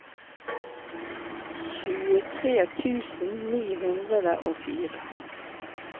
tjuetre tusen ni hundre og fire